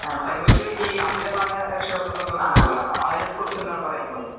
അമിതമായ രക്ഷ കാർത്തിതം എന്ന പറയാനാ ഒരു സാമ്പത്തവം ഉണ്ടല്ലോ അതിനെ പാറ്റി എന്താണ് പറയാൻ ഉള്ളത്